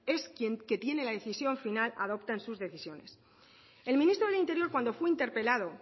es quien tiene la decisión final adopten sus decisiones el ministro del interior cuando fue interpelado